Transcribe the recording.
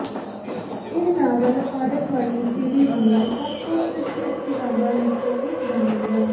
ਇਹ ਨਾਵਲ ਹਾਰਨ ਵਾਲੀ ਪੀੜ੍ਹੀ ਦੀਆਂ ਸਭ ਤੋਂ ਪ੍ਰਸਿੱਧ ਕਿਤਾਬਾਂ ਵਿਚੋਂ ਇਕ ਬਣ ਗਿਆ